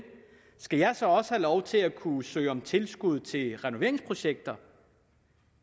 skal jeg så også have lov til at kunne søge om tilskud til renoveringsprojekter